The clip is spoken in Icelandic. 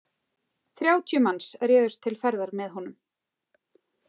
Þrjátíu manns réðust til ferðar með honum.